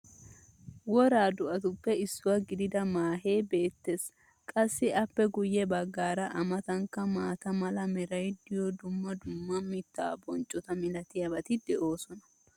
wora do'atuppe issuwa gididda maahee beetees. qassi appe guye bagaara a matankka maata mala meray diyo dumma dumma mitaa bonccota malatiyaabati de'oosona.